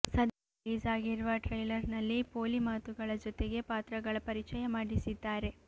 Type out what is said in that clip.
ಸದ್ಯ ರಿಲೀಸ್ ಆಗಿರುವ ಟ್ರೈಲರ್ ನಲ್ಲಿ ಪೋಲಿ ಮಾತುಗಳ ಜೊತೆಗೆ ಪಾತ್ರಗಳ ಪರಿಚಯ ಮಾಡಿಸಿದ್ದಾರೆ